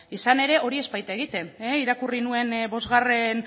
izan ere hori ez baita egiten irakurri nuen bosgarren